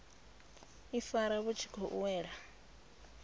ifara vhu tshi khou wela